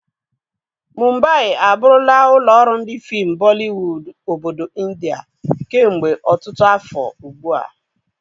Mumbai abụrụla ụlọ ọrụ ndi fim Bolliwod obodo Indià kemgbe ọtụtụ afọ ugbu a.